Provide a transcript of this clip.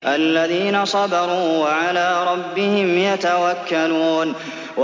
الَّذِينَ صَبَرُوا وَعَلَىٰ رَبِّهِمْ يَتَوَكَّلُونَ